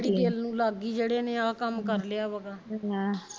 ਜਿਹੜੀ ਦਿਲ ਨੂੰ ਲੱਗ ਗਈ ਜਿਹੜੇ ਇੰਨੇ ਆ ਕੰਮ ਕਰ ਲਿਆ ਵਾ